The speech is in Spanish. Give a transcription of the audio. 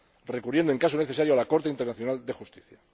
recurriendo, en caso necesario, a la Corte Internacional de Justicia.